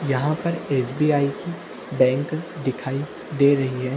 यहां पर एस.बी.आई की बैंक दिखाई दे रही है।